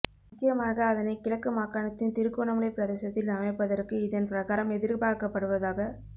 முக்கியமாக அதனை கிழக்கு மாகாணத்தின் திருகோணமலை பிரதேசத்தில் அமைப்பதற்கு இதன் பிரகாரம் எதிர்பார்க்கப்படுவதாக